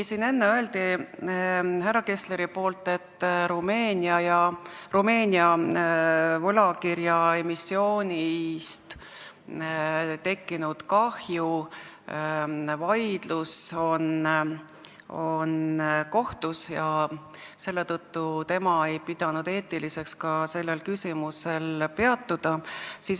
Siin enne ütles härra Kessler, et vaidlus Rumeenia võlakirjaemissioonist tekkinud kahju üle on kohtus, ja selle tõttu tema ei pidanud eetiliseks sellel küsimusel peatuda.